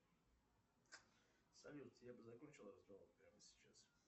салют я бы закончил разговор прямо сейчас